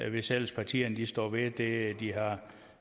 hvis ellers partierne står ved det de har